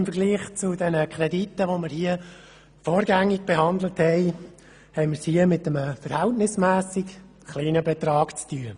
Im Vergleich zu den Krediten, die wir vorgängig behandelten, haben wir es hier mit einem verhältnismässig kleinen Betrag zu tun.